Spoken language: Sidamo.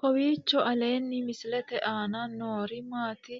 kowiicho aleenni misilete aana noori maati